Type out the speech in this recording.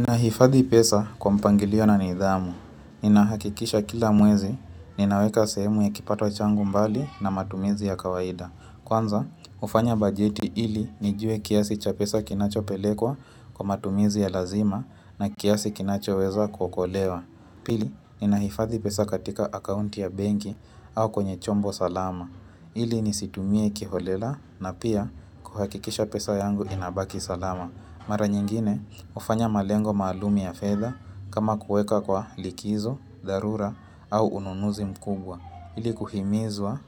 Ninahifadhi pesa kwa mpangilio na nidhamu. Ninahakikisha kila mwezi, ninaweka sehemu ya kipato changu mbali na matumizi ya kawaida. Kwanza, hufanya bajeti ili nijue kiasi cha pesa kinachopelekwa kwa matumizi ya lazima na kiasi kinachoweza kuokolewa. Pili, ninahifadhi pesa katika akaunti ya benki au kwenye chombo salama. Ili nisitumie kiholela na pia kuhakikisha pesa yangu inabaki salama. Mara nyingine hufanya malengo maalum ya fedha kama kuweka kwa likizo, dharura au ununuzi mkubwa. Ili kuhimizwa